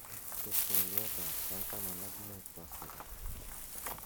chob twolyotab sait taman ak muut koskolen